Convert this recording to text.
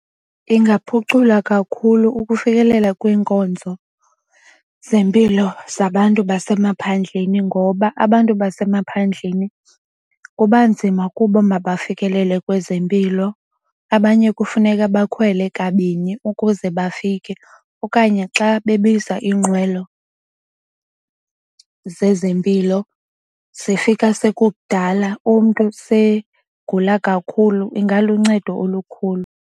Ingaphucula kakhulu ukufikelela kwiinkonzo zempilo zabantu basemaphandleni ngoba abantu abasemaphandleni kuba nzima kubo mabafikelele kwezempilo. Abanye kufuneka bakhwele kabini ukuze bafike okanye xa bebiza iinqwelo zezempilo zifika sekukudala umntu segula kakhulu. Ingaluncedo olukhulu.